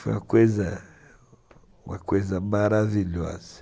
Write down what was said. Foi uma coisa maravilhosa.